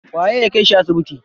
Waye ya kai shi asibiti?